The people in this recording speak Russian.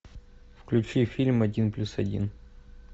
включи фильм один плюс один